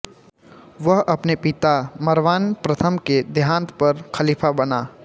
वह अपने पिता मरवान प्रथम के देहांत होने पर ख़लीफ़ा बना